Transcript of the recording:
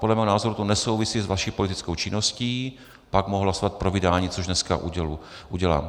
Podle mého názoru to nesouvisí s vaší politickou činností, pak mohu hlasovat pro vydání, což dneska udělám.